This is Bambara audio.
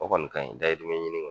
O kɔni ka ɲi dayirimɛ ɲini kɔni